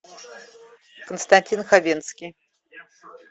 константин хабенский